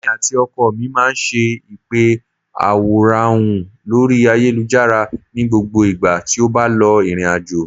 Èmi àti ọkọ mi máa ń ṣe ìpè àwòránhùn lórí ayélujára ní gbogbo ìgbà tí ó bá lọ ìrìnàjò